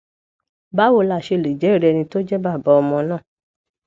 báwo la ṣe lè jeri ẹni tó jẹ bàbá ọmọ náà